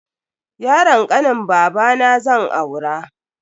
Yaron kanin babana zan aura.